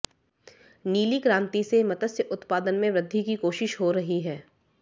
नीली क्रांति से मत्स्य उत्पादन में वृद्धि की कोशिश हो रही है